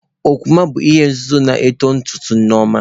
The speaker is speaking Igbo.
Okwuma bụ ihe nzuzo na uto ntutu Nneoma